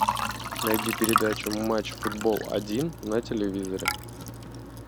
найди передачу матч футбол один на телевизоре